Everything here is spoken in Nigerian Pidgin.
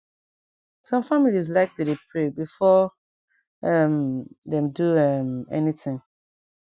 sum families like to dey pray before um dem do um any tin